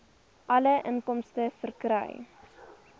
alle inkomste verkry